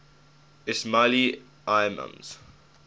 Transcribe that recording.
ismaili imams